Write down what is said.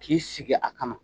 K'i sigi a kama